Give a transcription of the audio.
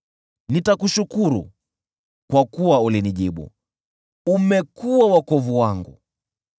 Nitakushukuru, kwa kuwa ulinijibu, umekuwa wokovu wangu.